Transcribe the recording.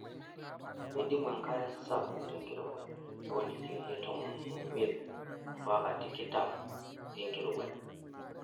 Meidimu enkare sapuk tenkirowuaj oo ndikirini tomon omiet ompaka tikitam enkirowuaj.